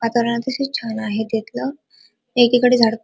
वातावरण अतिशय छान आहे तेथल एकीकडे झा--